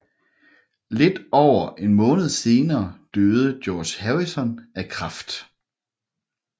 Lidt over en måned senere døde George Harrison af kræft